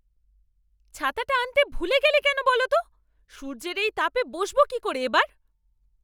ছাতাটা আনতে ভুলে গেলে কেন বলো তো? সূর্যের এই তাপে বসবো কি করে এবার?